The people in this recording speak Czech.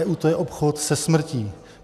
EU - to je obchod se smrtí.